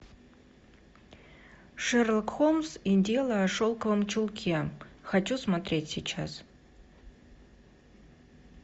шерлок холмс и дело о шелковом чулке хочу смотреть сейчас